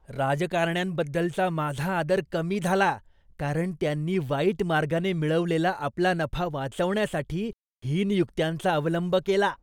राजकारण्यांबद्दलचा माझा आदर कमी झाला, कारण त्यांनी वाईट मार्गाने मिळवलेला आपला नफा वाचवण्यासाठी हीन युक्त्यांचा अवलंब केला.